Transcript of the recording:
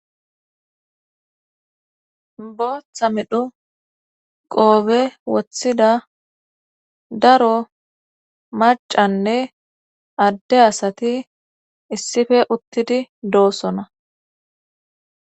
Bootha midhu qoobe woththida daro macanne adde asati issife uttidi